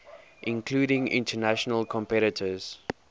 including international competitors